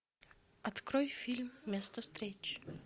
открой фильм место встречи